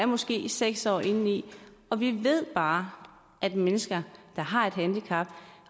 måske er seks år indeni og vi ved bare at mennesker der har et handicap